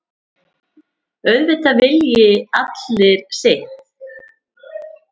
Auðvitað vilji allir sitt.